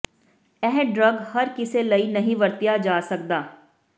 ਇਹ ਡਰੱਗ ਹਰ ਕਿਸੇ ਲਈ ਨਹੀ ਵਰਤਿਆ ਜਾ ਸਕਦਾ